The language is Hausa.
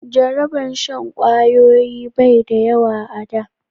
Jaraban shan kwayoyi bai da yawa a da